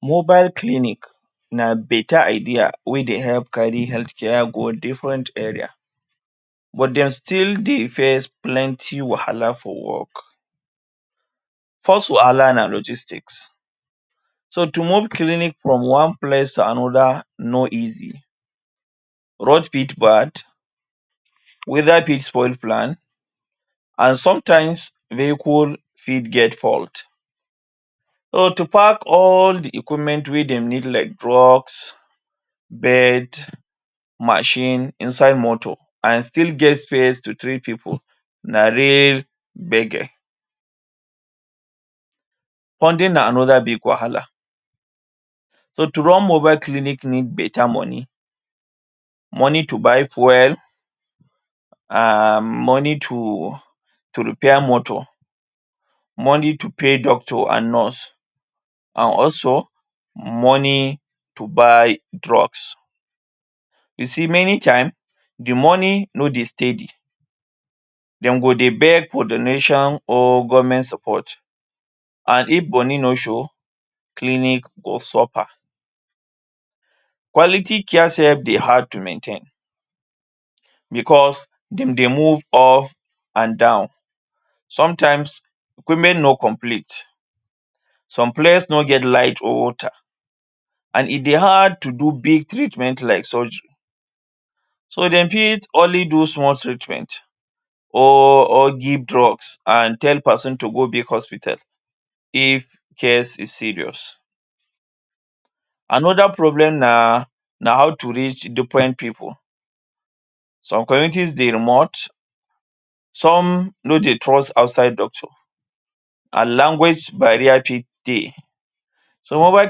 Mobile clinic na beta idea wey dey help carry health care home different area, but dem still dey face plenty wahala for work. First wahala na logistics. So, to move clinic from one place to another no easy. Road fit bad, weather fit spoil plan, an sometimes, vehicle fit get fault. So to pack all the equipment wey dem need like drugs, bed, machine inside motor an still get space to treat pipu, na real gbege. Funding na another bug wahala. So to run mobile clinic need beta money. Monet to buy fuel, um money to repair motor, money to pay doctor an nurse, an also, money to buy drugs. You see many time, the money no dey steady. Dem go dey beg for donation or government support. An if money no show, clinic go suffer. Quality care sef dey hard to maintain becos dem dey move up an down. Sometimes, equipment no complete. Some place no get light or water, an e dey hard to do big treatment like surgery. So dem fit only small treatment or or give drugs an tell peson to go big hospital if case is serious. Another problem na na how to reach different pipu. Some communities dey remote, some no dey trust outside doctor, an language barrier fit dey. So, mobile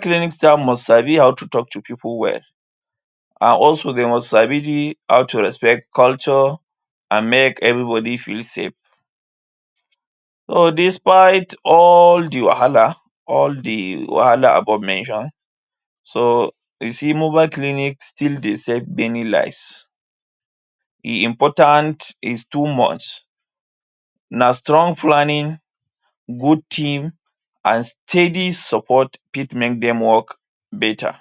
clinic staff must sabi how to talk to pipu well, an also dey must sabi how to respect culture an make everybody feel safe. So, despite all the wahala —all the wahala above mentioned — so you see mobile clinic still dey save many lives. E important is too much. Na strong planning, good team, an steady support fit make dem work beta.